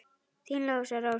Þín Lovísa Rós.